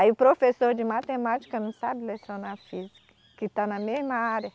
Aí o professor de matemática não sabe lecionar física, que está na mesma área.